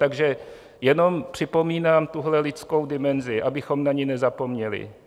Takže jenom připomínám tuhle lidskou dimenzi, abychom na ni nezapomněli.